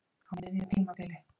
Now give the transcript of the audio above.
Á miðju tímabili?